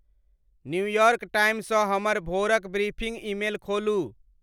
New York Times सॅ हमर भोरक ब्रीफिंग ईमेल खोलू।